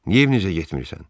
Niyə evinizə getmirsən?